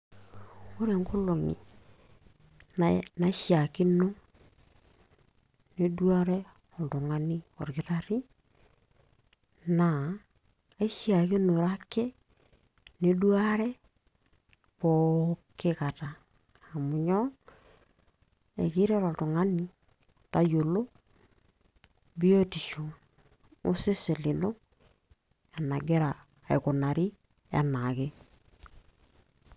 Ore inkolongi naishakino ,niduare oltungani okitari, na eshakinore ake niduruare pooki kataa, amu nyoo, amu keret oltungani metayiolo biotisho ino enengira aikunari anaake.